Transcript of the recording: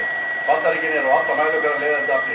Bandaríkin eru á alla mælikvarða leiðandi afl í heiminum.